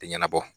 Tɛ ɲɛnabɔ